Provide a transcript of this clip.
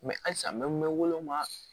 halisa n bɛ mɛn wa